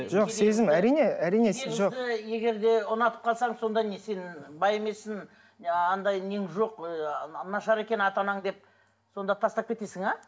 жоқ сезім әрине әрине жоқ егер де ұнатып қалсаң сонда не сен бай емессің анадай нең жоқ нашар екен ата анаң деп сонда тастап кетесің ә